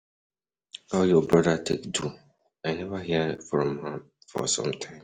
How your brother take do? I never hear from am for some time.